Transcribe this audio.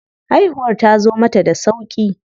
Haihuwar tazo mata da sauƙi.